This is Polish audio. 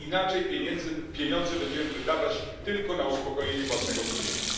Inaczej pieniądze będziemy wydawać tylko na uspokojenie własnego sumienia.